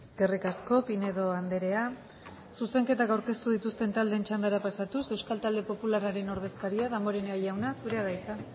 eskerrik asko pinedo andrea zuzenketak aurkeztu dituzten txandara pasatuz euskal talde popularraren ordezkaria damborenea jauna zurea da hitza